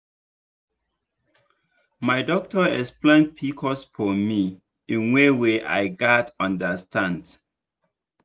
my doctor explain pcos for me in way wey i gatz understand.